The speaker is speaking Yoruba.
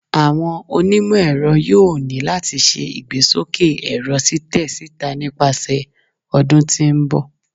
Awọn onimọ-ẹrọ yoo ni lati ṣe igbesoke ẹrọ titẹ sita nipasẹ ọdun ti n bọ